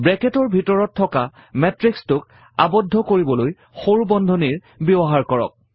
ব্ৰেকেটৰ ভিতৰত থকা matrix টোক আৱদ্ধ কৰিবলৈ সৰু বন্ধনীৰ ব্যৱহাৰ কৰক